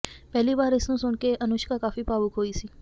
ਪਹਿਲੀ ਵਾਰ ਇਸ ਨੂੰ ਸੁਣ ਕੇ ਅਨੁਸ਼ਕਾ ਕਾਫੀ ਭਾਵੁਕ ਹੋਈ ਸੀ